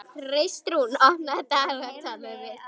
Kristrún, opnaðu dagatalið mitt.